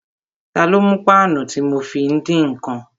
Ta ló mú páànù tí mo fi ń dín ǹkan?